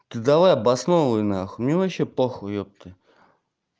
ты давай обосновывай нахуй мне вообще похуй ёпта